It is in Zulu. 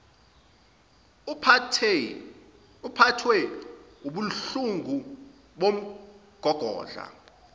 uphathwe wubuhlungu bomgogodla